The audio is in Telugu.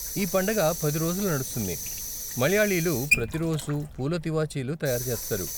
ఈ పండగ పది రోజులు నడుస్తుంది, మలయాళీలు ప్రతి రోజూ పూల తివాచీలు తయారు చేస్తారు.